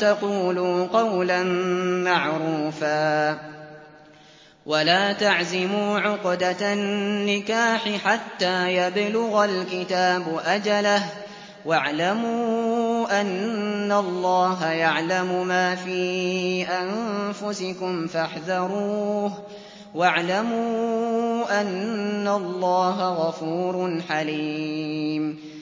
تَقُولُوا قَوْلًا مَّعْرُوفًا ۚ وَلَا تَعْزِمُوا عُقْدَةَ النِّكَاحِ حَتَّىٰ يَبْلُغَ الْكِتَابُ أَجَلَهُ ۚ وَاعْلَمُوا أَنَّ اللَّهَ يَعْلَمُ مَا فِي أَنفُسِكُمْ فَاحْذَرُوهُ ۚ وَاعْلَمُوا أَنَّ اللَّهَ غَفُورٌ حَلِيمٌ